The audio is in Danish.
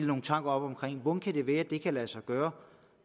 nogle tanker om hvordan kan det være at det kan lade sig gøre